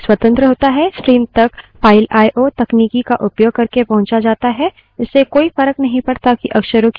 इससे कोई फर्क नहीं पड़ता कि अक्षरों की वास्तविक stream file से आती है या file में जाती है या keyboard window आदि से आती है